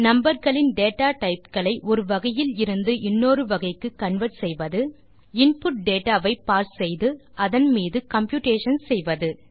number களின் data type களை ஒரு வகையில் இருந்து இன்னொரு வகைக்கு கன்வெர்ட் செய்வது இன்புட் டேட்டா வை பார்ஸ் செய்து அதன் மீது கம்ப்யூட்டேஷன்ஸ் செய்வது